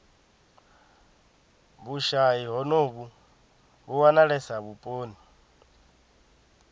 vhushayi honovhu vhu wanalesa vhuponi